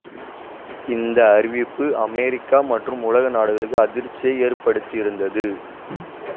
இந்த அறிவிப்பு அமெரிக்கா மற்றும் உலக நாடுகளுக்கு அதிர்ச்சியை ஏற்படுத்தியிருந்தது